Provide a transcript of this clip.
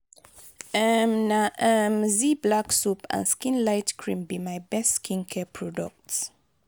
um na um zee black soap and skin light cream be my best skincare products.